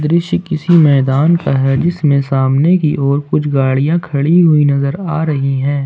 दृश्यों किसी मैदान का है जिसमें सामने की ओर कुछ गाड़ियां खड़ी हुई नजर आ रही है।